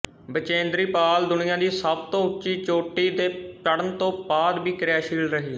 ਬਚੇਂਦਰੀ ਪਾਲ ਦੁਨੀਆ ਦੀ ਸਭ ਤੋਂ ਉੱਚੀ ਚੋਟੀ ਤੇ ਚੜ੍ਹਨ ਤੋਂ ਬਾਅਦ ਵੀ ਕਿਰਿਆਸ਼ੀਲ ਰਹੀ